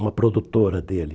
Uma produtora dele.